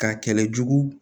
K'a kɛlɛ jugu